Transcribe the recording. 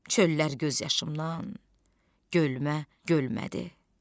Çöllər göz yaşımdan gölmə gölmədi.